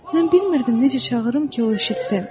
Mən bilmirdim necə çağırım ki, o eşitsin.